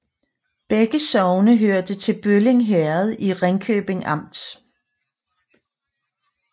Begge sogne hørte til Bølling Herred i Ringkøbing Amt